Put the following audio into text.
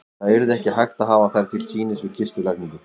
Það yrði ekki hægt að hafa þær til sýnis við kistulagningu.